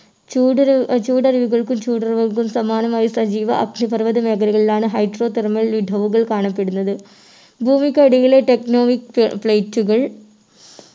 ചൂടൊരു ആഹ് ചൂടൊരുവുകൾക്കും ചൂടരുകൾക്കും സമാനമായ സജീവ അഗ്നിപർവത മേഖലകളിലാണ് hydro thermal ഇടവുകൾ കാണപ്പെടുന്നത് ഭൂമിക്കടിയിലെ techtonic plate കൾ